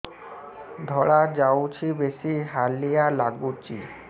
ଧଳା ଯାଉଛି ବେଶି ହାଲିଆ ଲାଗୁଚି